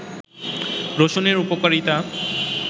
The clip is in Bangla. রসুনের উপকারিতা